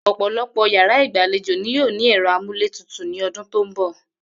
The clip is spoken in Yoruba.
Ò̩pò̩lo̩pò̩ yàrá ìgbàlejò ni yóò ní è̩ro̩ amúlétutù ní o̩dún tó ń bò̩